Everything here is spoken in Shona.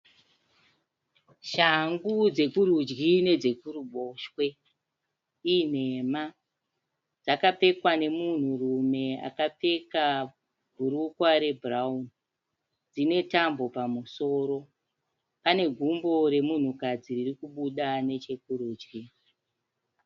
Shangu dzekurudyi nedzekuruboshwe i nhema. Dzakapfekwa nemunhu rume akapfeka bhurukwa re bhurauni ,dzine tambo pamusoro. Pane gumbo remunhu kadzi ririkubuda nechekurudyi.